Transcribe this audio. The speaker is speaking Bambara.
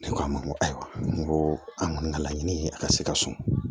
Ne ko a ma n ko ayiwa n ko an kɔni ka laɲini ye a ka se ka so